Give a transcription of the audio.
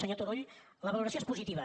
senyor turull la valoració és positiva